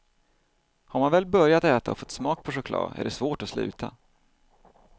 Har man väl börjat äta och fått smak på choklad är det svårt att sluta.